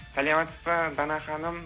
саламатсыз ба дана ханым